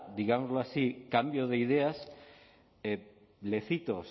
digámoslo así cambio de ideas le cito